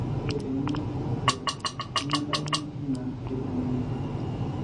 Ore eng'ion enkijiape nemedamuni anaa kejung'uni.